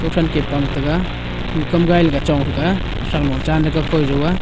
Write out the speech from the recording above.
ko than ke pang tega khu kam gai le ga chong thega sanglo chan tega kojo aa.